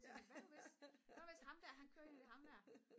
sådan hvad nu hvis hvad nu hvis ham her kører ind i ham her